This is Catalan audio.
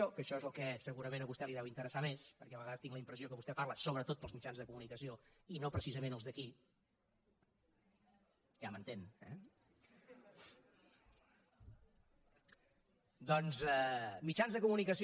que això és el que segurament a vostè li deu interessar més perquè a vegades tinc la impressió que vostè parla sobretot per als mitjans de comunicació i no precisament els d’aquí ja m’entén eh doncs mitjans de comunicació